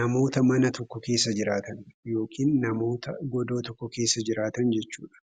namoota mana tokko keessa jiraatan yookiin namoota godoo tokko keessa jiraatan jechuu dha.